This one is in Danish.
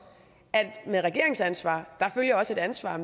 at med regeringsansvaret følger også et ansvar